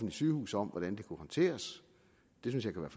sygehuse om hvordan det kunne håndteres det synes jeg kunne